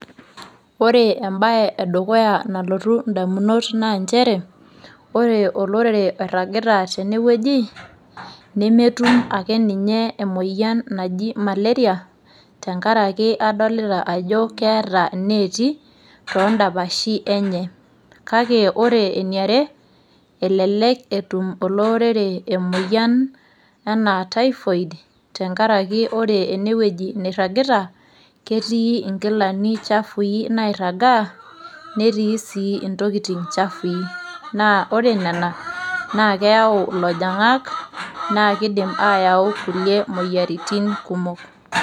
Ore embae edukuya nalotu indamunot naa nchere ,ore olorere oiragita tene wueji nemetum ake ninye emoyian naji malaria , tenkaraki adolita ajo keeta ineeti toondapashi enye .Kake ore eniare elelek etum ele orere emoyian anaa typhoid tenkaraki ore ene wueji niragita , ketii nkilani chafui nairagaa , netii sii intokitin chafui. Naa ore nena naa keyau ilojingak naa kidim ayau kulie moyiaritin kumok.